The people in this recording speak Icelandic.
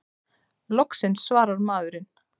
Loksins svarar maðurinn!